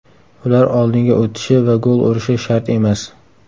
Ular oldinga o‘tishi va gol urishi shart emas.